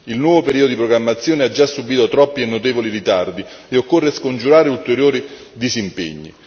Il nuovo periodo di programmazione ha già subito troppi e notevoli ritardi e occorre scongiurare ulteriori disimpegni.